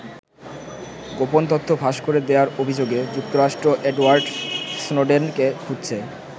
গোপন তথ্য ফাঁস করে দেয়ার অভিযোগে যুক্তরাষ্ট্র এডওয়ার্ড স্নোডেনকে খুঁজছে।